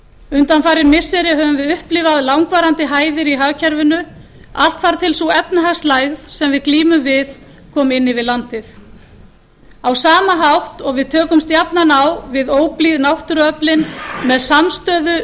undanfarin missiri höfum við upplifað langvarandi hæðir í hagkerfinu allt þar til sú efnahagslægð sem við glímum við kom inn yfir landið á sama hátt og við tökumst jafnan á við óblíð náttúruöflin með samstöðu